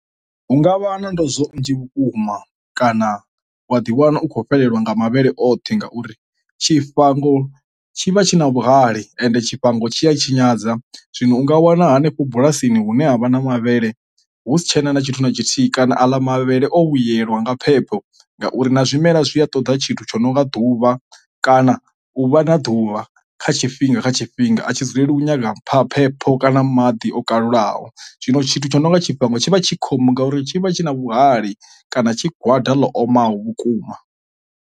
Hu ngavha na ndozwo nnzhi vhukuma kana wa ḓi wana u khou fhelelwa nga mavhele oṱhe ngauri tshifhango tshi vha tshi na vhuhali ende tshifhango tshi a tshinyadza. Zwino u nga wana henefho bulasini hune havha na mavhele hu si tshena na tshithu na tshithihi kana a ḽa mavhele o vhuyelwa nga phepho ngauri na zwimela zwi a ṱoḓa tshithu tsho no nga ḓuvha kana u vha na ḓuvha kha tshifhinga kha tshifhinga a tshi dzulela u nyaga phepho kana maḓi o kalulaho. Zwino tshithu tsho nonga tshifhango tshi vha tshi khombo ngauri tshi vha tshi na vhuhali kana tshigwada ḽo omaho vhukuma.